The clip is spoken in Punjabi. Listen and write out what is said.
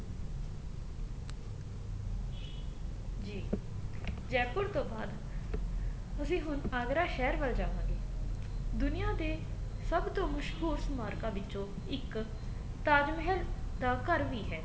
ਜੀ জয়পুৰ ਤੋਂ ਬਾਅਦ ਅਸੀਂ ਹੁਣ ਆਗਰਾ ਸ਼ਹਿਰ ਵਲ ਜਾਵਾਂਗੇ ਦੁਨੀਆ ਦੇ ਸਭ ਤੋਂ ਮਸ਼ਹੂਰ ਸਮਾਰਕਾ ਵਿਚੋ ਇੱਕ ਤਾਜ ਮਹਿਲ ਦਾ ਘਰ ਵੀ ਹੈ